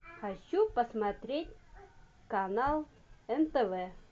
хочу посмотреть канал нтв